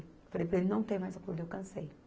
Falei, para ele não tem mais acordo, eu cansei.